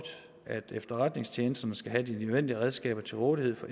at efterretningstjenesterne skal have de nødvendige redskaber til rådighed for